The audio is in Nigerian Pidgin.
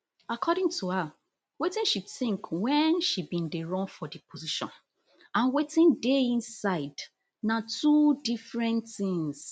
according to her wetin she tink wen she bin dey run for di position and wetin dey inside na two different things